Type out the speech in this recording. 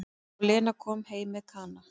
Og Lena kom heim með Kana.